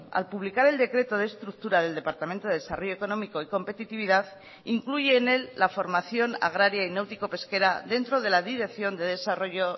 al publicar el decreto de estructura del departamento de desarrollo económico y competitividad incluye en él la formación agraria y náutico pesquera dentro de la dirección de desarrollo